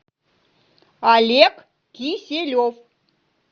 олег киселев